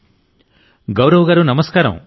నరేంద్ర మోడీ గౌరవ్ గారూ నమస్కారం